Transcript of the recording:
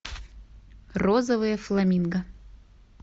розовые фламинго